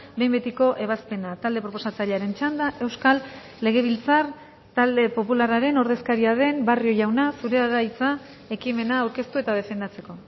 behin betiko ebazpena talde proposatzailearen txanda euskal legebiltzar talde popularraren ordezkaria den barrio jauna zurea da hitza ekimena aurkeztu eta defendatzeko